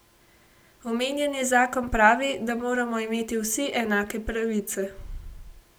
Omenjeni zakon pravi, da moramo imeti vsi enake pravice.